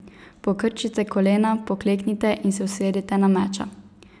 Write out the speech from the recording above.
Pokrčite kolena, pokleknite in se usedite na meča.